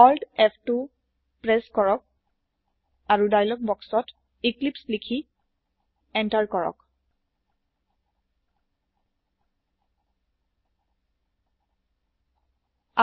Alt ফ2 press কৰক আৰু ডাইলগ বক্সত এক্লিপছে লিখি এন্টাৰ টিপক